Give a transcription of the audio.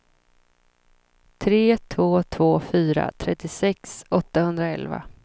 tre två två fyra trettiosex åttahundraelva